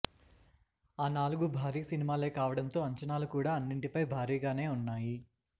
ఆ నాలుగు భారీ సినిమాలే కావడంతో అంచనాలు కూడా అన్నింటిపై భారీగానే ఉన్నాయి